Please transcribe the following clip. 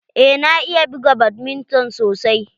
Eh na iya buga badminton sosai.